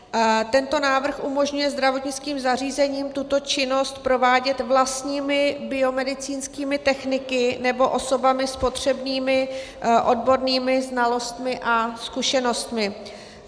Tento návrh umožňuje zdravotnickým zařízením tuto činnost provádět vlastními biomedicínskými techniky nebo osobami s potřebnými odbornými znalostmi a zkušenostmi.